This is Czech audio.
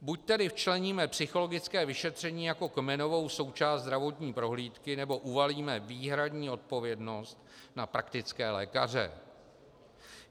Buď tedy včleníme psychologické vyšetření jako kmenovou součást zdravotní prohlídky, nebo uvalíme výhradní odpovědnost na praktické lékaře.